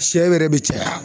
Sɛ yɛrɛ bɛ caya